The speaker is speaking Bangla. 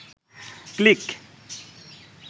ক্লিক